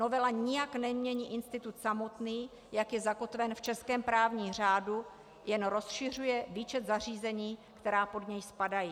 Novela nijak nemění institut samotný, jak je zakotven v českém právním řádu, jen rozšiřuje výčet zařízení, která pod něj spadají.